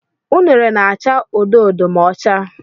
Unere na-acha odo odo ma ọ chaa.